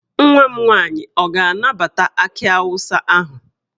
Nwa m nwaanyị ọ ga-anabata akị awụsa ahụ?